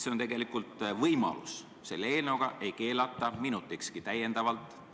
See on tegelikult võimalus, selle eelnõuga ei keelata alkoholimüüki minutikski täiendavalt.